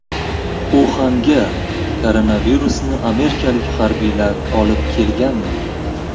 Uxanga koronavirusni amerikalik harbiylar olib kelganmi?